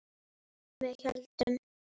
Með hléum.